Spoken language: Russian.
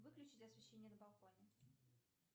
выключить освещение на балконе